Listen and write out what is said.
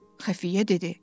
Xəfiyyə dedi: